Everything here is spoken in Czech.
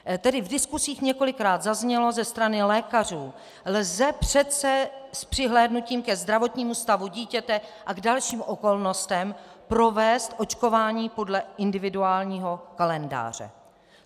Tedy v diskusích několikrát zaznělo ze strany lékařů: lze přece s přihlédnutím ke zdravotnímu stavu dítěte a k dalším okolnostem provést očkování podle individuálního kalendáře.